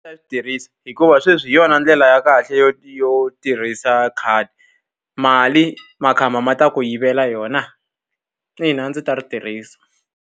tirhisa hikuva sweswi hi yona ndlela ya kahle yo yo tirhisa khadi. Mali makhamba ma ta ku yivela yona. Ina a ndzi ta ri tirhisa.